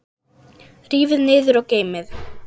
Rífið niður og geymið.